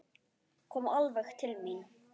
Kom alveg til mín.